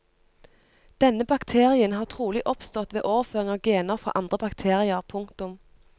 Denne bakterien har trolig oppstått ved overføring av gener fra andre bakterier. punktum